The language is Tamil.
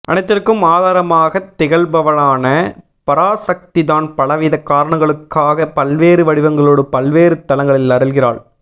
அனைத்திற்கும் ஆதாரமாகத் திகழ்பவளான பராசக்திதான் பலவித காரணங்களுக்காக பல்வேறு வடிவங்களோடு பல்வேறு தலங்களில் அருள்கிறாள்